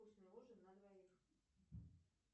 вкусный ужин на двоих